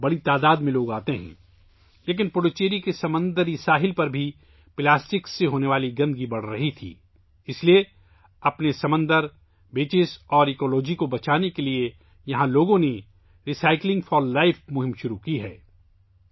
لیکن، پلاسٹک کی وجہ سے آلودگی پڈوچیری کے سمندری ساحل پر بھی بڑھ رہی تھی، اس لیے اپنے سمندر، ساحلوں اور ماحولیات کو بچانے کے لیے یہاں کے لوگوں نے 'ری سائیکلنگ فار لائف' مہم شروع کی ہے